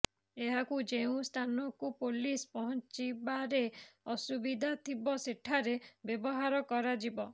ଏହାକୁ ଯେଉଁ ସ୍ଥାନକୁ ପୋଲିସ ପହଞ୍ଚିବାରେ ଅସୁବିଧା ଥିବ ସେଠାରେ ବ୍ଯବହାର କରାଯିବ